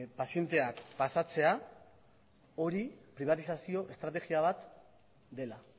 pazienteak pasatzea hori pribatizazio estrategia bat dela